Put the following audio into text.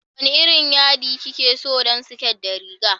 Wane irin yaɗi kike so don siket da riga?